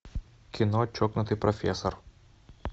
кино чокнутый профессор